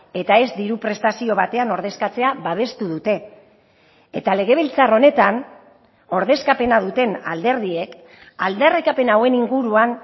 eta ez diru prestazio batean ordezkatzea babestu dute eta legebiltzar honetan ordezkapena duten alderdiek aldarrikapen hauen inguruan